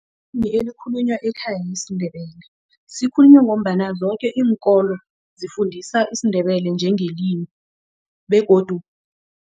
ekhaya yisiNdebele sikhulunywa ngombana zoke iinkolo zifundisa isiNdebele njengelimi begodu